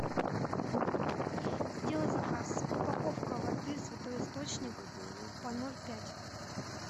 сделай заказ упаковка воды святой источник по ноль пять